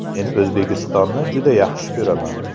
Men O‘zbekistonni juda yaxshi ko‘raman.